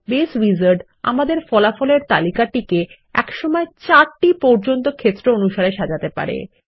base wizard আমাদের ফলাফল এর তালিকাটিকে একসময় ৪ টি পর্যন্ত ক্ষেত্র অনুসারে সাজাতে পারে